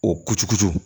O kucukutu